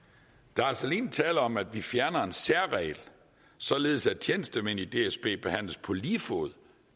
der er altså alene tale om at vi fjerner en særregel således at tjenestemænd i dsb behandles på lige fod